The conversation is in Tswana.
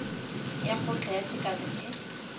ya kgotla ya tekano e